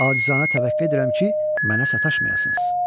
Acizanə təvəqqə edirəm ki, mənə sataşmayasınız."